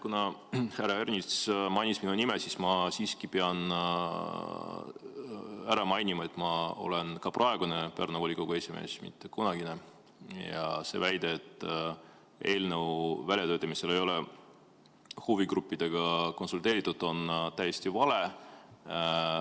Kuna härra Ernits mainis minu nime, siis ma pean siiski ära mainima, et ma olen ka praegune Pärnu volikogu esimees, mitte kunagine, ja see väide, et eelnõu väljatöötamisel ei ole huvigruppidega konsulteeritud, on täiesti vale.